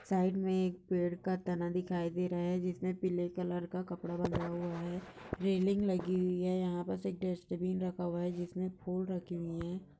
Side में एक पेड़ का तना दिखाई दे रहा है जिसमे पीले कलर का कपड़ा बंधा हुआ है रेलिंग लगी हुई है यहा बस एक डस्ट बिन रखा हुआ है जिसमे फूल रखे हुए है।